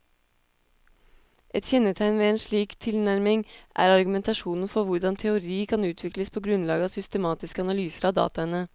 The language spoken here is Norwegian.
Et kjennetegn ved en slik tilnærming er argumentasjonen for hvordan teori kan utvikles på grunnlag av systematiske analyser av dataene.